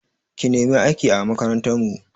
Ki nemi aiki a makarantar mu!